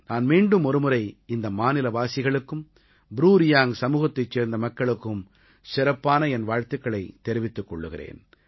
நான் மீண்டும் ஒருமுறை இந்த மாநிலவாசிகளுக்கும் ப்ரூ ரியாங்க் சமூகத்தைச் சேர்ந்த மக்களுக்கும் சிறப்பான என் வாழ்த்துக்களைத் தெரிவித்துக் கொள்கிறேன்